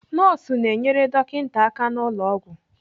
Nọọsụ na-enyere dọkịta aka n'ụlọ ọgwụ.